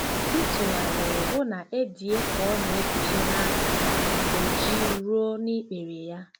M tụgharịrị hụ na Edie ka ọ na-eguzo na apịtị ojii ruo n'ikpere ya.